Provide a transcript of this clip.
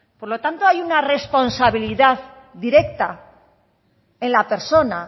por lo tanto hay una responsabilidad directa en la persona